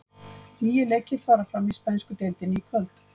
Níu leikir fara fram í spænsku deildinni í kvöld.